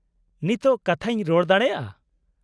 -ᱱᱤᱛᱚᱜ ᱠᱟᱛᱷᱟᱧ ᱨᱚᱲ ᱫᱟᱲᱮᱭᱟᱜᱼᱟ ᱾